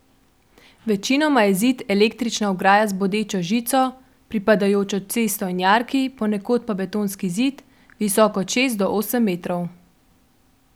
Večinoma je zid električna ograja z bodečo žico, pripadajočo cesto in jarki, ponekod pa je betonski zid, visok od šest do osem metrov.